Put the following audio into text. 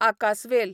आकासवेल